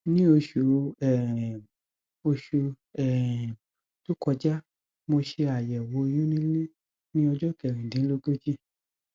ní oṣù um oṣù um tó kọjá mo ṣe àyẹwò oyún nílé ní ọjọ kẹrìndínlógójì